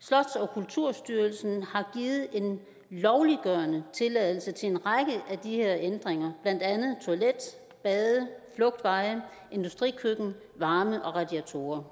slots og kulturstyrelsen har givet en lovliggørende tilladelse til en række af de her ændringer blandt andet toilet bade flugtveje industrikøkken varme og radiatorer